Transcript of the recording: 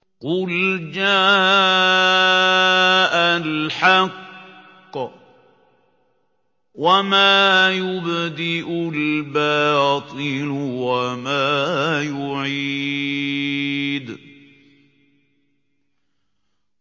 قُلْ جَاءَ الْحَقُّ وَمَا يُبْدِئُ الْبَاطِلُ وَمَا يُعِيدُ